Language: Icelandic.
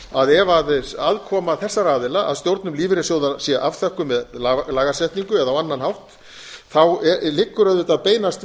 að ef aðkoma þessara aðila að stjórnum lífeyrissjóða sé afþökkuð með lagasetningu eða á annan hátt liggur auðvitað beinast